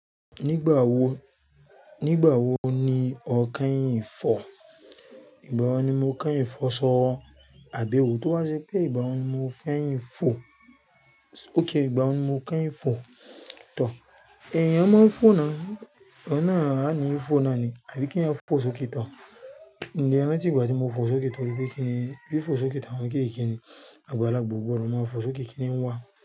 Nígbà wo, nígbà wo ni o kẹ́yìn fò? Ígbà wo ni mo kẹ́yìn fò sọ, àbí ewó tó wá ṣé pé ìgbà wo ni mo fẹ́yìn fò? Okay ìgbà wo ni mo kẹ́yìn fò tor. Ẹ̀ẹ̀yàn máa ń fò náà, ọ̀nà àní fò náà ni, àbí kí ẹ̀yàn fò sókè tán? Nìyẹn ni tí ìgbà tí mo fò sókè tán wípé kí nì, bí fò sókè tán kí kí ni, àgbàlagbà gbogbo ọ̀rọ̀ máa ń fò sókè kí n wá.